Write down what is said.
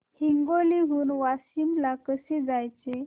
हिंगोली हून वाशीम ला कसे जायचे